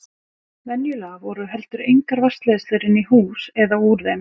Venjulega voru heldur engar vatnsleiðslur inn í hús eða úr þeim.